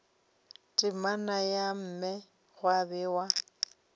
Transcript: temana ya mme gwa bewa